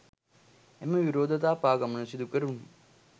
එම විරෝධතා පාගමන සිදු කෙරුණේ